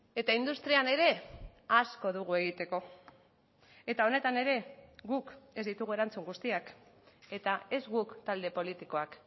eta industrian ere asko dugu egiteko eta honetan ere guk ez ditugu erantzun guztiak eta ez guk talde politikoak